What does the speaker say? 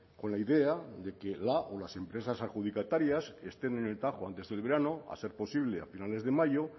con la idea de que la o las empresas adjudicatarias estén en el tajo antes del verano a ser posible a finales de mayo